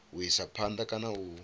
u isa phanda kana u